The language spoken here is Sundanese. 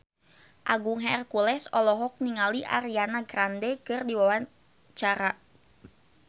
Agung Hercules olohok ningali Ariana Grande keur diwawancara